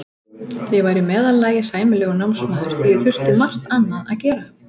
Ég var í meðallagi sæmilegur námsmaður því ég þurfti margt annað að gera.